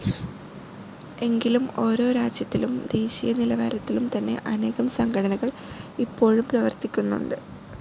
എങ്കിലും ഓരോ രാജ്യത്തിലും ദേശീയനിലവാരത്തിലും തന്നെ അനേകം സംഘടനകൾ ഇപ്പോഴും പ്രവർത്തിക്കുന്നുണ്ട്.